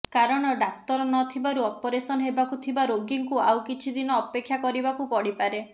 କାରଣ ଡାକ୍ତର ନ ଥିବାରୁ ଅପରେସନ ହେବାକୁ ଥିବା ରୋଗୀଙ୍କୁ ଆଉ କିଛିଦିନ ଅପେକ୍ଷା କରିବାକୁ ପଡିପାରେ